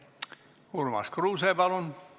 Urmas Kruuse, palun!